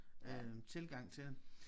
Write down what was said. Øh tilgang til det